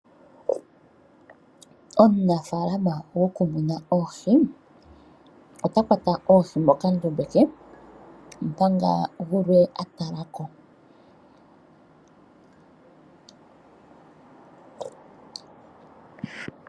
Omunaafaalama gokumuna oohi ota kwata oohi mokandombe ke, omanga gulwe a talako.